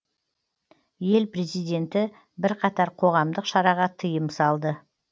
ел президенті бірқатар қоғамдық шараға тыйым салды